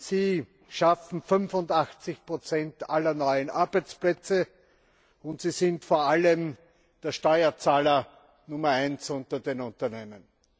Sie schaffen 85 aller neuen Arbeitsplätze, und sie sind vor allem der Steuerzahler Nummer eins unter den Unternehmen.